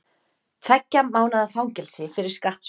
Tveggja mánaða fangelsi fyrir skattsvik